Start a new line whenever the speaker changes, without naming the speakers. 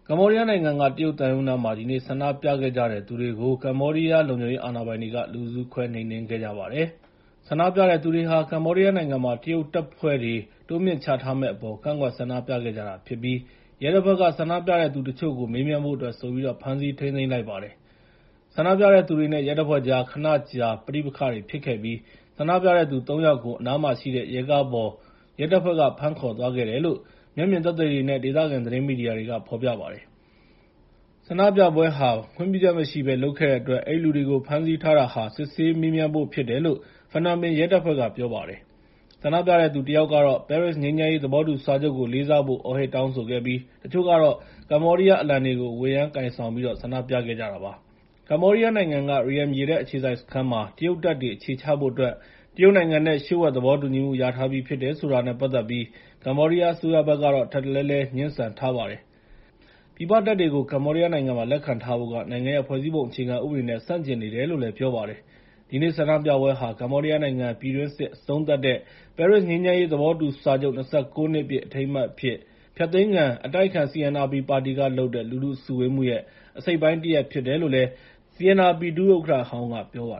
မ္ဘောဒီးယားနိုင်ငံက တရုတ်သံရုံးနားမှာ ဒီနေ့ ဆန္ဒပြခဲ့ကြတဲ့သူတွေကို ကမ္ဘောဒီးယားလုံခြုံရေးအာဏာပိုင်တွေက လူစုခွဲနှိမ်နှင်းခဲ့ပါတယ်။ ဆန္ဒပြတဲ့သူတွေဟာ ကမ္ဘောဒီယားနိုင်ငံမှာ တရုတ်တပ်ဖွဲ့တွေ တိုးမြှင့်ချထားမယ့်အပေါ် ကန့်ကွက်ဆန္ဒပြခဲ့ကြတာဖြစ်ပြီး ရဲတပ်ဖွဲ့က ဆန္ဒပြတဲ့သူတချို့ကို မေးမြန်းဖို့အတွက်ဆိုပြီး ဖမ်းဆီးထိန်းသိမ်းလိုက်ပါတယ်။ ဆန္ဒပြတဲ့သူတွေနဲ့ ရဲတပ်ဖွဲ့တွေကြား ခဏကြာ ပဋိပက္ခဖြစ်ခဲ့ပြီး ဆန္ဒပြတဲ့သူ ၃ ယောက်ကို အနားမှာရှိတဲ့ ရဲကားပေါ် ရဲတပ်ဖွဲ့က ဖမ်းခေါ်သွားခဲ့တယ်လို့ မျက်မြင်သက်သေတွေနဲ့ ဒေသခံ သတင်းမီဒီယာကဖော်ပြပါတယ်။ ဆန္ဒပြပွဲဟာ ခွင့်ပြုချက်မရှိဘဲ လုပ်ခဲ့တဲ့အတွက် အဲဒီလူတွေကို ဖမ်းဆီးထားတာဟာ စစ်ဆေးမေးမြန်းဖို့ဖြစ်တယ်လို့ ဖနွမ်ပင်ရဲတပ်ဖွဲ့က ပြောပါတယ်။ ဆန္ဒပြတဲ့သူတစ်ယောက်ကတော့ ပဲရစ်ငြိမ်းချမ်းရေး သဘောတူစာချုပ်ကိုလေးစားဖို့ အော်ဟစ်တောင်းဆိုခဲ့ပြီး တချို့ကတော့ ကမ္ဘောဒီးယားအလံတွေကို ဝှေ့ယမ်းကိုင်ဆောင်ဆန္ဒပြခဲ့ကြပါတယ်။ ကမ္ဘောဒီးယားနိုင်ငံက Ream ရေတပ်အခြေစိုက်စခန်းမှာ တရုတ်တပ်တွေ အခြေချဖို့အတွက် တရုတ်နိုင်ငံနဲ့ လျှို့ဝှက်သဘောတူညီမှု ရထားပြီဖြစ်တယ်ဆိုတာနဲ့ ပတ်သက်ပြီး ကမ္ဘောဒီးယားအစိုးရဘက်ကတော့ ထပ်တလဲလဲ ငြင်းဆန်ထားပါတယ်။ ပြည်ပတပ်တွေကို ကမ္ဘောဒီးယားနိုင်ငံမှာ လက်ခံထားဖို့က နိုင်ငံရဲ့ ဖွဲ့စည်းပုံအခြေခံဥပဒေနဲ့ ဆန့်ကျင်နေတယ်လို့လည်း ပြောပါတယ်။ ဒီနေ့ဆန္ဒပြပွဲဟာ ကမ္ဘောဒီးယားပြည်တွင်း စစ်အဆုံးသတ်တဲ့ ပဲရစ်ငြိမ်းချမ်းရေးသဘောတူစာချုပ် ၂၉ နှစ်ပြည့် အထိမ်းအမှတ်အဖြစ် ဖျက်သိမ်းခံ အတိုက်အခံ CNRP ပါတီကလုပ်တဲ့ လူထုစုဝေးမှုရဲ့ အစိတ်အပိုင်း တရပ်ဖြစ်တယ် လို့ CNRP ဒု-ဥက္ကဋ္ဌဟောင်းက ပြောပါ